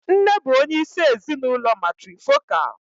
Nne bụ onyeisi ezinụlọ matrifocal.